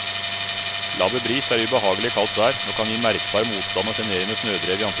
Laber bris er ubehagelig i kaldt vær og kan gi merkbar motstand og sjenerende snødrev i ansiktet.